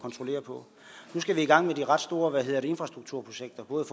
kontrollerer på nu skal vi i gang med de ret store infrastrukturprojekter både